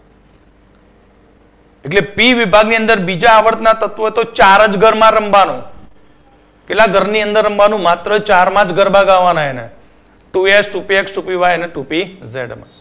એટલે પી વિભાગની અંદર બીજા આવર્ત ના તત્વો તો ચાર જ ઘર માં રમવાનું કેટલા ઘરની અંદર રમવાનું માત્ર ચાર માં જ ગરબા ગાવાના એને Two S Two Px Two Py અને Two Pz માં એટલે આનો મતલબ